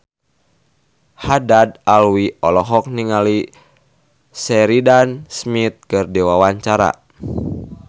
Haddad Alwi olohok ningali Sheridan Smith keur diwawancara